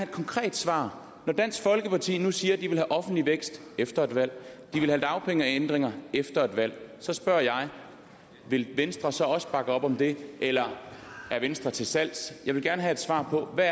konkret svar når dansk folkeparti nu siger de vil have offentlig vækst efter et valg de vil have dagpengeændringer efter et valg så spørger jeg vil venstre så også bakke op om det eller er venstre til salg jeg vil gerne have svar på hvad